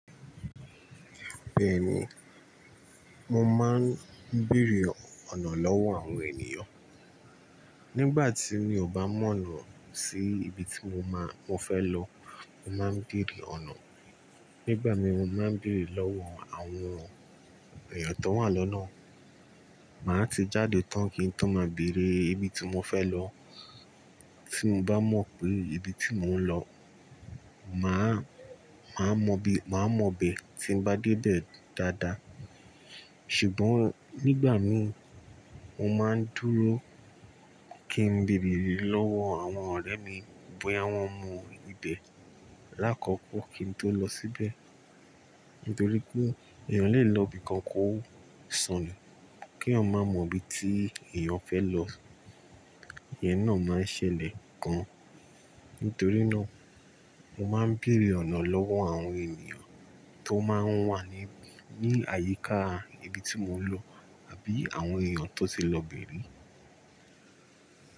Bẹ́ẹ̀ni, mo máa ń bèèrè ọ̀nà lọ́wọ́ àwọn ènìyàn. Nígbà tí mi ò bá mọ̀ lọ sí ibi tí mo máa, mo fẹ́ lọ, mo máa ń bèèrè ọ̀nà. Nígbà mí mo máa ń bèèrè lọ́wọ́ àwọn èèyàn tó wà lọ́nà. Màá ti jáde tán kí n tó máa bèèrè ibi tí mo fẹ́ lọ. Tí mo bá mọ̀ pé ibi tí mò ń lọ, màá, màá mọ bí, màá mọ ibẹ̀ tí ń bá dé bẹ̀ dáadáa. Ṣùgbọ́n nígbà mí mo máa ń dúró kí n bèèrè lọ́wọ́ àwọn ọ̀rẹ́ mi bóyá wọ́n mọ ibẹ̀ lákọ̀ọ̀kọ́ kí n tó lọ síbẹ̀. Nítorí pé èèyàn lè lọ ibi kan kó sọnù kí eeyan má mọ ibi tí èèyàn fẹ́ lọ. Ìyẹn náà máa ń ṣẹlẹ̀ gan. Nítorí náà mo máa ń bèèrè ọ̀nà lọ́wọ́ àwọn ènìyàn tó máa ń wà ní, ní àyíká ibi tí mò ń lọ àbí àwọn èèyàn tó ti lọ bẹ̀ ri.